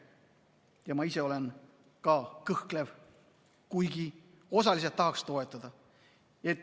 Ja ma ise olen ka kõhklev, kuigi osaliselt tahaks toetada.